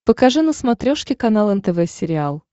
покажи на смотрешке канал нтв сериал